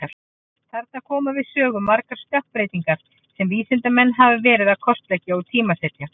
Þarna koma við sögu margar stökkbreytingar sem vísindamenn hafa verið að kortleggja og tímasetja.